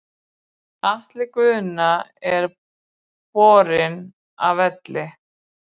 Atli Guðna er borinn af velli.